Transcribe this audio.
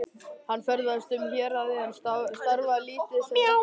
Hann ferðaðist um héraðið en starfaði lítið sem ekki neitt.